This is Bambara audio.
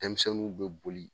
Denmisɛnninw bɛ boli.